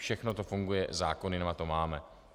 Všechno to funguje, zákony na to máme.